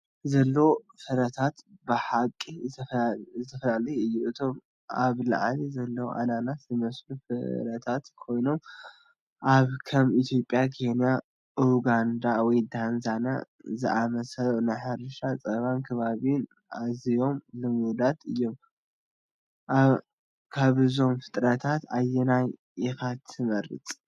ዘሎ ፍረታት ብሓቂ ዝተፈላለየ እዩ። እቶም ኣብ ላዕሊ ዘለዉ ኣናናስ ዝመስሉ ፍረታት ኮይኖም፡ ኣብ ከም ኢትዮጵያ፡ ኬንያ፡ ኡጋንዳ፡ ወይ ታንዛንያ ዝኣመሰሉ ናይ ሕርሻን ጸባን ከባቢታት ኣዝዮም ልሙዳት እዮም። ካብዞም ፍረታት ኣየናይ ኢኻ ትመርጽ?